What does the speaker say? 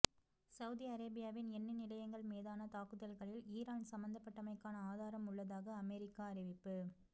Saudi அரேபியாவின் எண்ணெய் நிலையங்கள் மீதான தாக்குதல்களில் ஈரான் சம்பந்தப்பட்டமைக்கான ஆதாரம் உள்ளதாக அமெரிக்கா தெரிவிப்பு